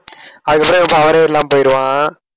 அதுக்கப்புறம் இவன் power யே இல்லாம போயிடுவான்.